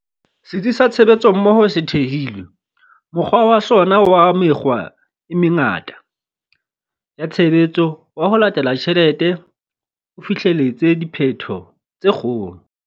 Setsi sa Tshebetsommoho se thehilwe, mokgwa wa sona wa mekgwa e mengata ya tshebetso wa 'ho latela tjhelete' o fihleletse diphetho tse kgolo.